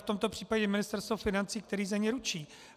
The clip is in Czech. V tomto případě Ministerstvo financí, které za ně ručí.